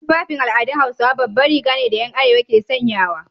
Tufafin al'adun Hausawa baban Riga ne da 'yan arewa ke sanyawa.